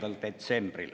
Aitäh!